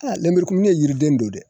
Aa lenburukumuni yiriden don dɛ